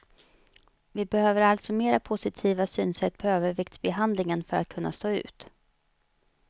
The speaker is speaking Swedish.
Vi behöver alltså mera positiva synsätt pa överviktsbehandlingen för att kunna stå ut.